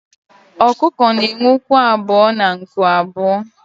ọkụkọ na enwe ụkwụ abuo na nku abuo